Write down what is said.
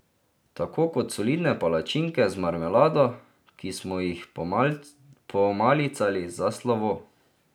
Tako kot solidne palačinke z marmelado, ki smo jih pomalicali za slovo.